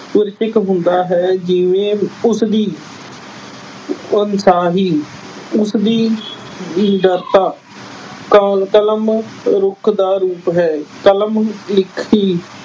ਹੁੰਦਾ ਹੈ ਜਿਵੇਂ ਉਸ ਦੀ ਉਸ ਦੀ ਕਾਲ ਕਲਮ ਰੁੱਖ ਦਾ ਰੂਪ ਹੈ। ਕਲਮ ਲਿਖੀ